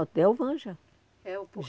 No hotel Vanja. É o